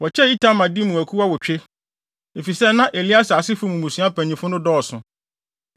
Wɔkyɛɛ Itamar de mu akuw awotwe, efisɛ na Eleasar asefo mu mmusua mpanyimfo no dɔɔso.